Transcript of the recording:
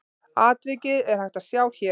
Atvikið er hægt að sjá hér.